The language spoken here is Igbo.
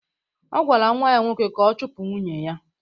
Ọ gwara nwa ya nwoke ka ọ chụpụ nwunye ya.